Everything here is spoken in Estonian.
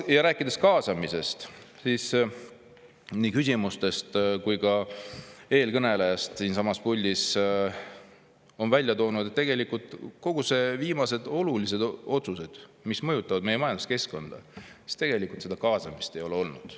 Nüüd, rääkides kaasamisest, siis küsimustes ja ka eelkõneleja siinsamas puldis tõi välja, et tegelikult kõigi need viimaste oluliste otsuste puhul, mis mõjutavad meie majanduskeskkonda, seda kaasamist ei ole olnud.